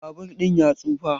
Babur ɗin ya tsufa.